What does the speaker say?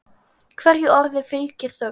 Hverju orði fylgir þögn.